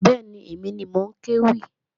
Bẹ́ẹ̀ni, èmi ni mò ń kéwì